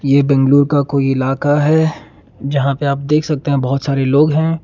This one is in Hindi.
ये बेंगलोर का कोई इलाका है जँहा पे आप देख सकते है बहोत सारे लोग है।